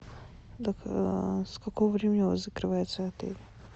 с какого времени у вас закрывается отель